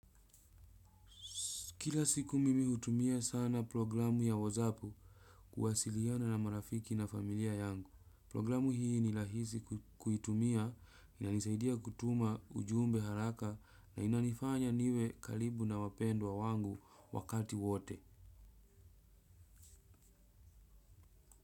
Kila siku mimi hutumia sana programu ya whatsapp kuwasiliana na marafiki na familia yangu. Programu hii ni rahisi kuitumia inanisaidia kutuma ujumbe haraka na inanifanya niwe karibu na wapendwa wangu wakati wote.